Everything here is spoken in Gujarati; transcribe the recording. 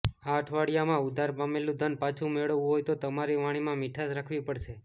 આ અઠવાડિયામાં ઉધાર આપેલું ધન પાછું મેળવવું હોય તો તમારી વાણીમાં મીઠાશ રાખવી પડશે